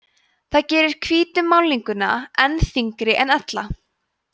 það gerir hvítu málninguna enn þyngri en ella